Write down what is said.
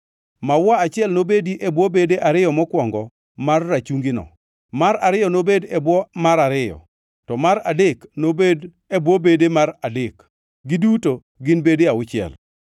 Maua achiel nobedi e bwo bede ariyo mokwongo mar rachungino, mar ariyo nobed e bwo mar ariyo, to mar adek nobed e bwo bede mar adek, giduto gin bede auchiel.